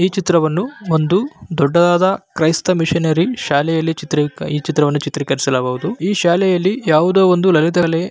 ಈ ಚಿತ್ರವನ್ನು ಒಂದು ದೊಡ್ಡದಾದ ಕ್ರೈಸ್ತ ಮಿಷಿನರಿ ಶಾಲೆಯಲ್ಲಿ ಈ ಚಿತ್ರವನ್ನು ಚಿತ್ರೀಕರಿಸಲಾಗುವುದು ಈ ಶಾಲೆಯಲ್ಲಿ ಯಾವುದೋ ಒಂದು ಲಲಿತ ಕಲೆ--